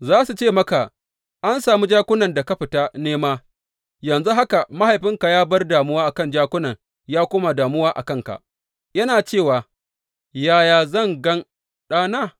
Za su ce maka, An sami jakunan da ka fita nema, yanzu haka mahaifinka ya bar damuwa kan jakunan ya koma damuwa a kanka, yana cewa, yaya zan gan ɗana?’